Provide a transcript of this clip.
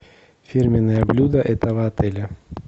фирменное блюдо этого отеля